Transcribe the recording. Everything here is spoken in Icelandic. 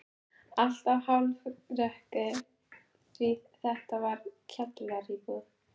Alltaf hálfrökkur því þetta var kjallaraíbúð.